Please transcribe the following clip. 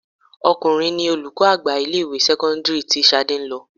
Ọkùnrin ní olùkọ́ àgbà ilé ìwé sẹ́kọ́ńdírì tí Ṣadé ń lọ.